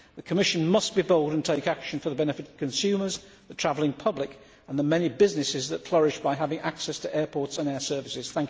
The Commission must be bold and take action for the benefit of consumers, the travelling public and the many businesses that flourish by having access to airports and air services.